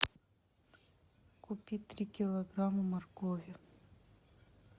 купи три килограмма моркови